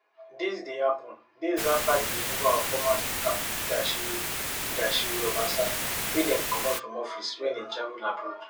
dis dey happun days afta di removal of former speaker mudashiru mudashiru obasa wey dem comot from office wen e travel abroad